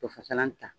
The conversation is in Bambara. To fasalan ta